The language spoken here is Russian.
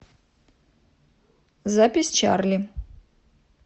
запись чарли